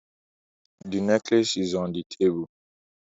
The necklace is on the table